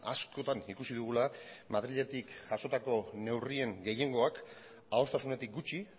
askotan ikusi dugula madriletik jasotako neurrien gehiengoak adostasunetik gutxi